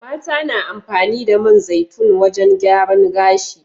Mata na amfani da man zaitun wajan gyaran gashi